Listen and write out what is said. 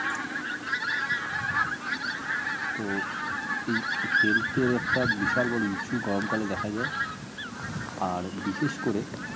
তো এই health এ একটা বড় issue গরম কালে দেখা যায় আর বিশেষ করে